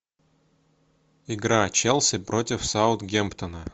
игра челси против саутгемптона